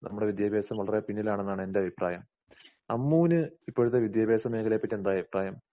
നമ്മുടെ വിദ്യാഭ്യാസം വളരെ പിന്നിലാണെന്നാണ് എൻറെഭിപ്രായം. അമ്മുവിന് ഇപ്പോഴത്തെ വിദ്യാഭ്യാസമേഖലയെപറ്റി എന്താഅഭിപ്രായം?